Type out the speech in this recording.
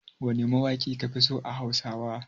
Wane mawaƙi kafi so a Hausawa?